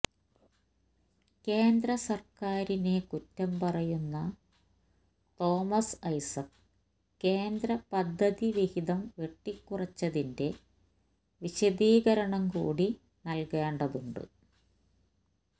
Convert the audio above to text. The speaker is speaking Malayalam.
കേന്ദ്ര സര്ക്കാരിനെ കുറ്റം പറയുന്ന തോമസ് ഐസക്ക് കേന്ദ്ര പദ്ധതി വിഹിതം വെട്ടിക്കുറച്ചതിന്റെ വിശദീകരണം കൂടി നല്കേണ്ടതുണ്ട്